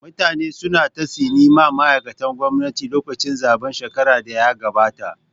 Mutane su na ta tsine ma ma'aikatan gwamnati lokacin zaɓen shekarar da ya gabata